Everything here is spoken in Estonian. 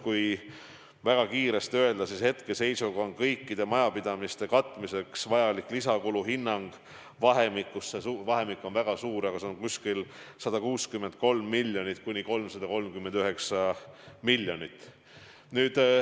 Kui väga üldiselt öelda, siis hetkeseisuga on arvestatud, et kõikide majapidamiste katmiseks vajalik lisakulu on vahemikus – see vahemik on väga suur – 163 miljonit kuni 339 miljonit.